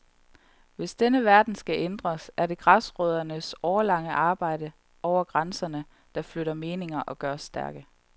Hvis denne verden skal ændres, er det græsrøddernes årelange arbejde over grænserne, der flytter meninger og gør os stærke.